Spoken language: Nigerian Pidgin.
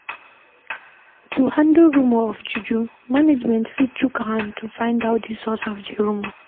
To handle rumour of juju, management fit chook hand to find out di source of di rumour